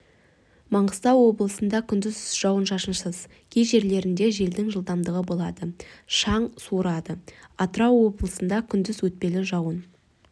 маңғыстау облысында күндіз жауын-шашынсыз кей жерлерінде желдің жылдамдығы болады шаң суырады атырау облысында күндіз өтпелі жауын